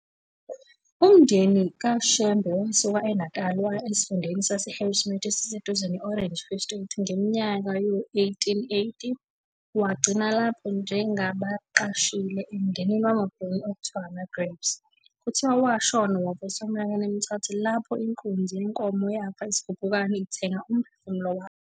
Umndeni kaShembe wasuka eNatal waya esifundeni sase-Harrismith esiseduze ne-Orange Free State ngeminyaka yawo-1880, wagcina lapho njengabaqashile emndenini wamaBhunu okuthiwa amaGrabes. Kuthiwa washona wavuswa eneminyaka emithathu lapho inkunzi yenkomo yafa isigubhukane, "ithenga umphefumulo wayo".